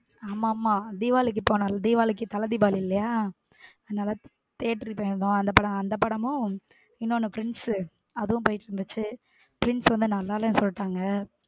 ஆமா ஆமா தீபாவளிக்கு போனோம்ல தீபாவளிக்கு தல தீபாவளி இல்லையா அதனால theater க்கு அந்த படமும் இன்னொன்று twins அதுவும் போய்ட்டு வந்தாச்சு twins வந்து நல்லா இல்லைன்னு சொல்லிட்டாங்க.